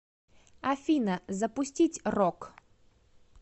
афина запустить рок